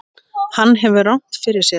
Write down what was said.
Hann hefur rangt fyrir sér.